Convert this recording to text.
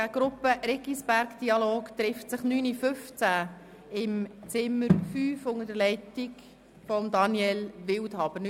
Die Gruppe Riggisberg-Dialog trifft sich um 9.15 Uhr im Zimmer 5 unter der Leitung von Daniel Wildhaber.